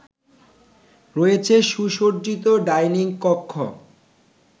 রয়েছে সুসজ্জিত ডাইনিং কক্ষ